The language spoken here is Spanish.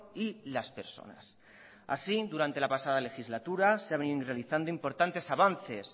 y las personas así durante la pasada legislatura se ha venido realizando importantes avances